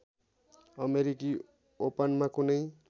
अमेरिकी ओपनमा कुनै